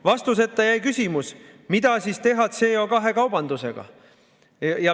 Vastuseta jäi küsimus, mida siis teha CO2 kaubandusega.